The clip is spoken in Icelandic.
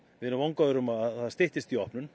við erum vongóðir um að það styttist í opnun